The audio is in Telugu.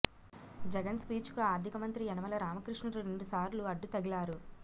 జగన్ స్పీచ్కు ఆర్థిక మంత్రి యనమల రామకృష్ణుడు రెండుసార్లు అడ్డు తగిలారు